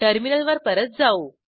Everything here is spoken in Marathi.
टर्मिनलवर परत जाऊ